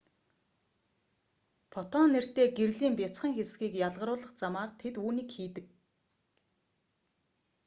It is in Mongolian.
фотон нэртэй гэрлийн бяцхан хэсгийг ялгаруулах замаар тэд үүнийг хийдэг